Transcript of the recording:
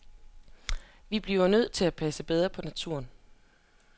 Vi bliver nødt til at passe bedre på naturen.